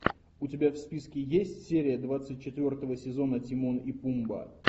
у тебя в списке есть серия двадцать четвертого сезона тимон и пумба